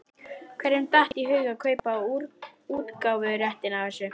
Hverjum datt í hug að kaupa útgáfuréttinn að þessu?